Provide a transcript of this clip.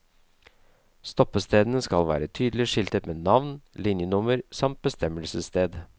Stoppestedene skal være tydelig skiltet med navn, linjenummer samt bestemmelsessted.